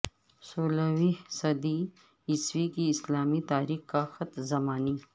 سولہویں صدی عیسوی کی اسلامی تاریخ کا خط زمانی